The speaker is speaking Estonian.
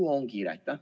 Kuhu on kiire?